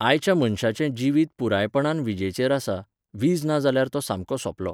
आयच्या मनशाचें जिवीत पुरायपणान विजेचेर आसा, वीज ना जाल्यार तो सामको सोंपलों